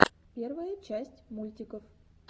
первая часть мультиков